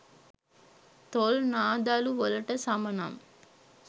තොල් නා දලු වලට සම නම්